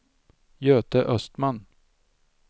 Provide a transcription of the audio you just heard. Göte Östman